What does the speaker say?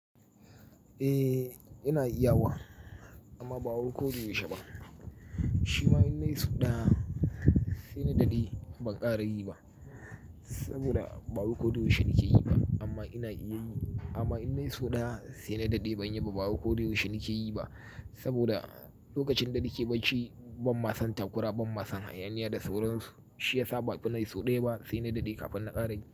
Eh, ina iya wa amma ba wai ko da yaushe ba. Shi ma in na yi so ɗaya sai na daɗe ban ƙara yi ba saboda bawai ko da yaushe na ke yi ba amma ina iya yi. Amma in na yi so ɗaya sai na daɗe ban yi ba saboda ba wai ko da yaushe nake yi ba saboda lokacin da nake bacci ban ma san takura, ban ma san hayaniya da sauransu. Shi ya sa bai fi nayi so ɗaya ba sai na daɗe kafin na ƙara yin.